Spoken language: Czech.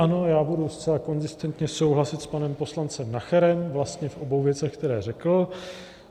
Ano, já budu zcela konzistentně souhlasit s panem poslancem Nacherem vlastně v obou věcech, které řekl.